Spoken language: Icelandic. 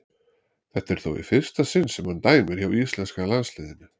Þetta er þó í fyrsta sinn sem hann dæmir hjá íslenska landsliðinu.